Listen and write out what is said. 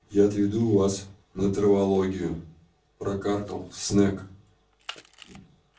я отведу вас на травологию прокаркал снегг